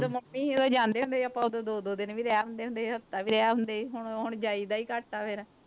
ਜਦੋਂ ਮੰਮੀ ਸੀ ਉਦੋਂ ਜਾਂਦੇ ਹੁੰਦੇ ਸੀ ਆਪਾਂ ਉਦੋਂ ਦੋ ਦੋ ਦਿਨ ਵੀ ਰਹਿ ਆਉਂਦੇ ਹੁੰਦੇ ਸੀ, ਹਫ਼ਤਾ ਵੀ ਰਹਿ ਆਉਂਦਾ ਸੀ ਹੁਣ ਹੁਣ ਜਾਈਦਾ ਹੀ ਘੱਟ ਆ ਫਿਰ।